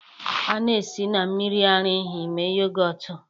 A na-esi na mmiri ara ehi mee yogọt